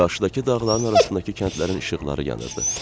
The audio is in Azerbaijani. Qarşıdakı dağların arasındakı kəndlərin işıqları yanırdı.